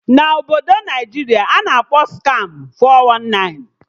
Na Obodo Naịjiria a na-akpọ Skamụ 419